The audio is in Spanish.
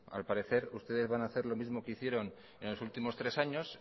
al parecer ustedes van hacer lo mismo que hicieron en los últimos tres años